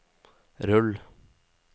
rull